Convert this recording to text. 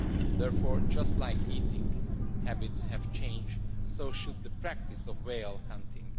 Therefore, just as eating habits have changed, so should the practice of whale hunting.